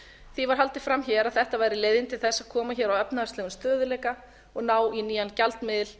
því var haldið fram á að þetta væri leiðin til að koma hér á efnahagslegum stöðugleika og ná í nýjan gjaldmiðil